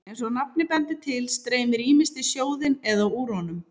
Eins og nafnið bendir til streymir ýmist í sjóðinn eða úr honum.